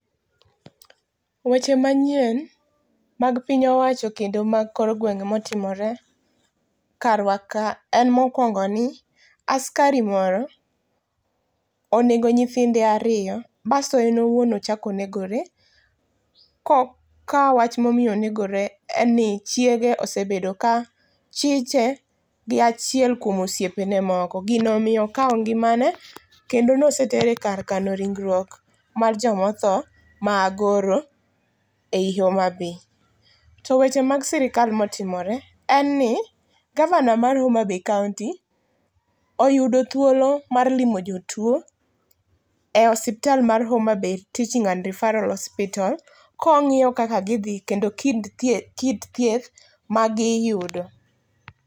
Weche manyien mag piny wacho kendo mag kor gwenge motimore karwa ka en mokuongo ni askari moro onego nyithinde ariyo basto en owuon ochak onegore ka wach momiyo onegore en ni chiege osebedo ka chiche gi achiel kuom osiepe ne moko gino omiyo okao ngimane kendo nosetere e kar kano ringruok mar joma otho ma Agoro ei Homabay. To weche mag sirkal motimore en ni gavana mar Homabay kaunti oyudo thuolo mar limo jotuo e osiptal mar Homabay Teaching and Referal hospita ka ongiyo kaka gidhi kendo kit thieth magiyudo